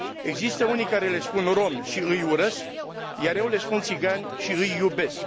Există unii care le spun romi și îi urăsc, iar eu le spun țigani și îi iubesc.